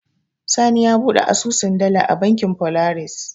Sani ya buɗe asusun dala a bankin Folaris.